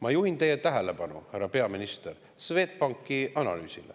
Ma juhin teie tähelepanu, härra peaminister, Swedbanki analüüsile.